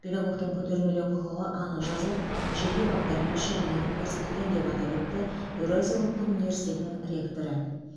педагогтің көтермелеу құқығы анық жазылып жеке баптармен шегеленіп көрсетілген деп атап өтті еуразия ұлттық университетінің ректоры